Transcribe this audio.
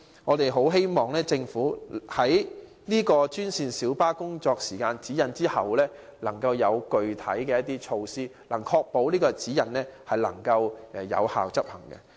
我們很希望政府在提出專線小巴司機工作時間指引後，能制訂具體措施，確保該指引能有效執行。